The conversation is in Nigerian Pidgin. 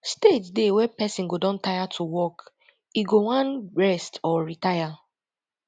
stage dey wey person go don tire to work e go wan rest or retire